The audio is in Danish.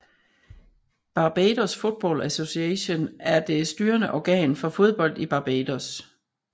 Barbados Football Association er det styrende organ for fodbold i Barbados